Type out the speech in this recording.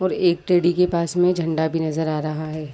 और एक टेडी के पास में झंडा भी नजर आ रहा हैं।